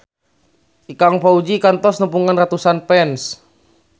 Ikang Fawzi kantos nepungan ratusan fans